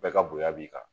Bɛɛ ka bonya b'i kan